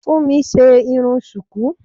Funmi ṣe irun sùkú.